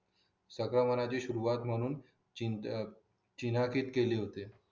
सगळं मनाची सुरुवात म्हणून चीना किट केले होते